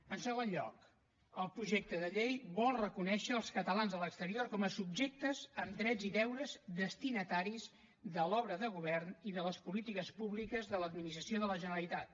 en segon lloc el projecte de llei vol reconèixer els catalans a l’exterior com a subjectes amb drets i deures destinataris de l’obra de govern i de les polítiques públiques de l’administració de la generalitat